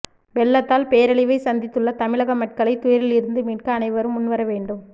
வெள்ளத்தால் பேரழிவைச் சந்தித்துள்ள தமிழக மக்களைத் துயரிலிருந்து மீட்க அனைவரும் முன்வர வேண்டும்